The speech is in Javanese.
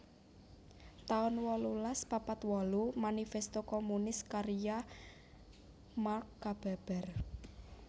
taun wolulas papat wolu Manifesto Komunis karya Mark kababar